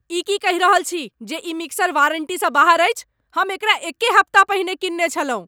ई की कहि रहल छी जे ई मिक्सर वारंटीसँ बाहर अछि? हम एकरा एके हप्ता पहिने कीनने छलहुँ!